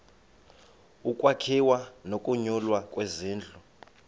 ukwakhiwa nokunyulwa kwezindlu